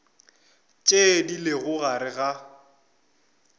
tše di lego gare ga